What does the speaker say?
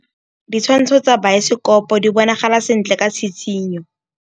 Ditshwantshô tsa biosekopo di bonagala sentle ka tshitshinyô.